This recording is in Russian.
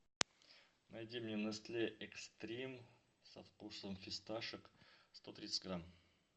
найди мне нестле экстрим со вкусом фисташек сто тридцать грамм